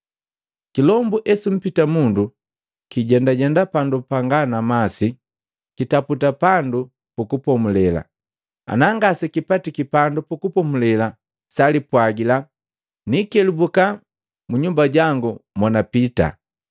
“Kilombu esumpita mundu, kijendajenda pandu panga na masi kitaputa pandu pukupomule. Ana ngasekipatiki pandu pukupomule salipwagila, ‘Niikelubuka mu nyumba jangu monapita.’